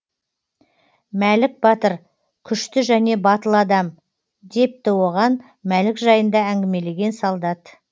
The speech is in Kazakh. мәлік батыр күшті және батыл адам депті оған мәлік жайында әңгімелеген солдат